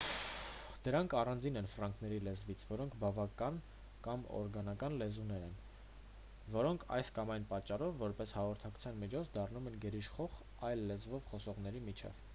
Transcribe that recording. դրանք առանձին են ֆրանկների լեզվից որոնք բնական կամ օրգանական լեզուներ են որոնք այս կամ այն պատճառով որպես հաղորդակցության միջոց դառնում են գերիշխող այլ լեզվով խոսողների միջև